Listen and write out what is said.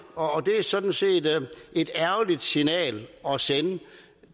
og det er sådan set et lidt ærgerligt signal at sende